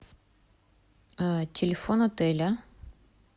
телефон отеля